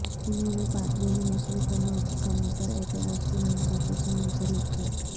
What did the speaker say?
انہوں نے پادری میں نسلی تنوع کی کمی پر اعتراض کی ناانصافی سے منسلک کیا